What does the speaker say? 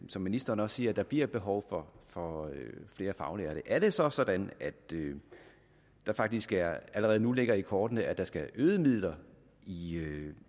som ministeren også siger at der bliver et behov for for flere faglærte er det så sådan at det det faktisk allerede nu ligger i kortene at der skal øgede midler i